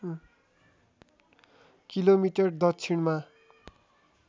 kilometre दक्षिणमा